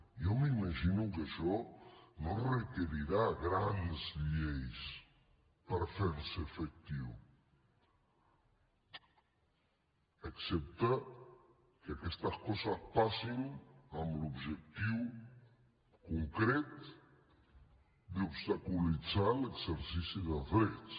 jo m’imagino que això no requerirà grans lleis per fer se efectiu excepte que aquestes coses passin amb l’objectiu concret d’obstaculitzar l’exercici dels drets